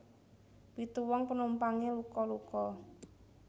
Pitu wong penumpange luka luka